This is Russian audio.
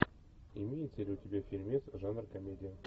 имеется ли у тебя фильмец жанра комедия